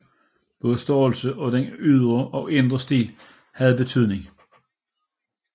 Både størrelsen og den ydre og indre stil havde betydning